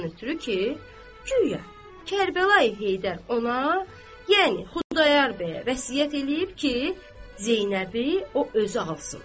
Ondan ötrü ki, güya Kərbəlayı Heydər ona, yəni Xudayar bəyə vəsiyyət eləyib ki, Zeynəbi o özü alsın.